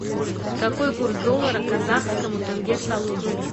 какой курс доллара к казахскому тенге в калуге